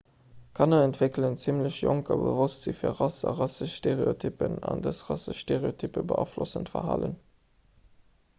kanner entwéckelen zimmlech jonk e bewosstsi fir rass a rassesch stereotyppen an dës rassesch stereotyppe beaflossen d'verhalen